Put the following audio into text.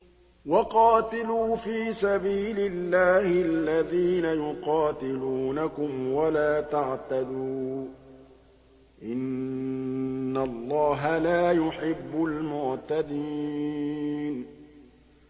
وَقَاتِلُوا فِي سَبِيلِ اللَّهِ الَّذِينَ يُقَاتِلُونَكُمْ وَلَا تَعْتَدُوا ۚ إِنَّ اللَّهَ لَا يُحِبُّ الْمُعْتَدِينَ